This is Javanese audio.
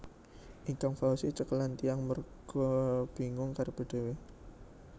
Ikang Fawzi cekelan tiang merga bingung karepe dhewe